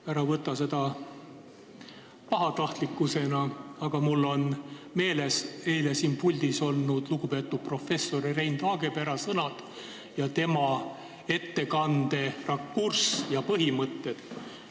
Ära võta seda pahatahtlikkusena, aga mul on meeles eile siin puldis olnud lugupeetud professori Rein Taagepera sõnad, tema ettekande rakurss ja põhimõtted.